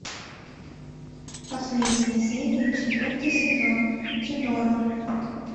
последняя серия четвертый сезон тюдоры